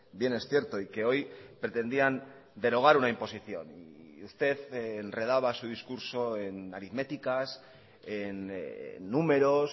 bien es cierto y que hoy pretendían derogar una imposición y usted enredaba su discurso en aritméticas en números